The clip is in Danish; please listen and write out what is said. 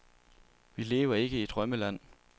Vi lever ikke i drømmeland.